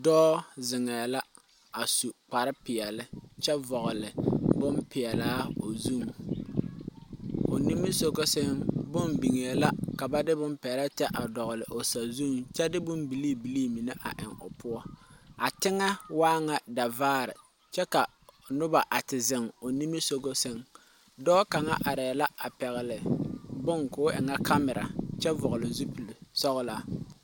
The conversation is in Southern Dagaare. Dɔɔ zeŋɛɛ la a su kparepeɛlle kyɛ vɔgle bonilpeɛlaa o zu o nimisoga sɛŋ bonne biŋee la ka ba de peɛlaa tɛ a dɔgle o sazuŋ kyɛ de bonne bilii bilii mine a eŋ o poɔ a teŋɛ waa ŋa zɛvaare kyɛ ka noba a te zeŋ o nimisoga sɛŋ dɔɔ kaŋ arɛɛ la a pɛgle bonne ka o e ŋa kamira kyɛ vɔgle zupilsɔglaa